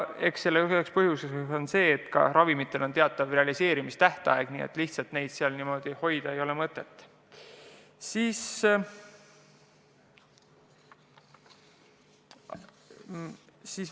Eks üks põhjus on see, et ka ravimitel on teatav realiseerimistähtaeg, nii et neid seal lihtsalt hoida ei ole mõtet.